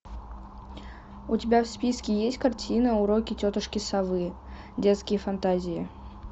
у тебя в списке есть картина уроки тетушки совы детские фантазии